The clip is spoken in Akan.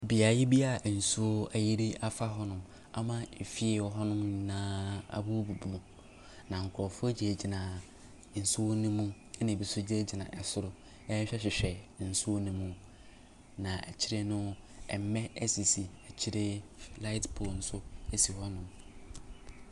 Beaeɛ bi a nsuo ayiri afa hɔnom ama nsuo efie a ɛwɔ hɔnom nyinaa abubu. Na nkurɔfoɔ gyinagyina nsuo no mu, ɛna ɛbi nso gyingyina soro rehwehwɛhwehwɛ nsuo no mu. Na akyire no, mmɛ sisi akyire. Light pole nso si hɔnom.